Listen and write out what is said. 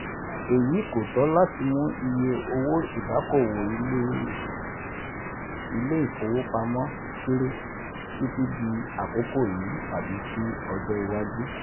Èyí kò tó láti mú iye owó ìdókòwò ilé ilé ìfowópamọ́ kéré Títí dì àkokò yìí tàbí sí ọjọ́ iwájú.